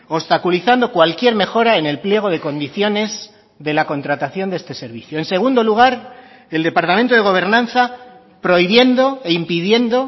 obstaculizando cualquier mejora en el pliego de condiciones de la contratación de este servicio en segundo lugar el departamento de gobernanza prohibiendo e impidiendo